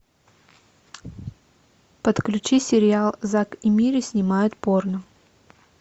подключи сериал зак и мири снимают порно